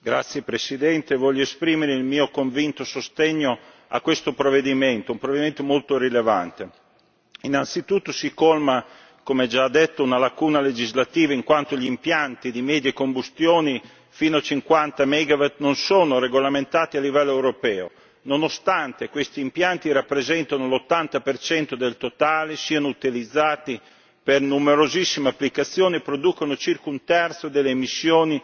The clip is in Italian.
Signora Presidente, onorevoli colleghi, voglio esprimere il mio convinto sostegno a questo provvedimento, un provvedimento molto rilevante. Innanzitutto si colma, come già detto, una lacuna legislativa, in quanto gli impianti di medie combustioni fino a 50 megawatt non sono regolamentati a livello europeo nonostante questi impianti rappresentino l'80 del totale, siano utilizzati per numerosissime applicazioni e producano circa un terzo delle emissioni